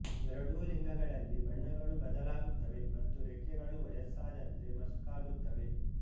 ಎರಡೂ ಲಿಂಗಗಳಲ್ಲಿ ಬಣ್ಣಗಳು ಬದಲಾಗುತ್ತವೆ ಮತ್ತು ರೆಕ್ಕೆಗಳು ವಯಸ್ಸಾದಂತೆ ಮಸುಕಾಗುತ್ತವೆ